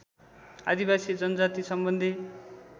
आदिवासी जनजातिसम्बन्धी